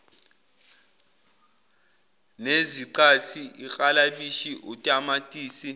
neziqathi iklabishi utamatisi